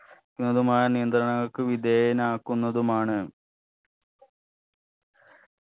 ക്കുന്നതുമായ നിയന്ത്രണങ്ങൾക്ക് വിധേയനാക്കുന്നതുമാണ്